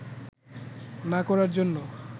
না করার জন্য